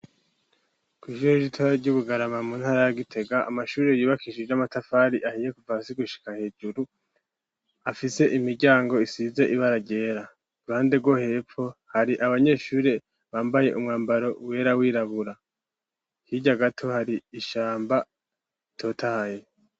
Kw'ishuri ritoya ryi bugarama mu ntara ya Gitega amashuri yubakishije amatafari ahiye kuva hasi gushika hejuru afise imiryango isize ibara ryera, ruhande rwo hepfo hari abanyeshuri bambaye umwambaro wera wirabura hirya gato hari ishamba ritotahaye.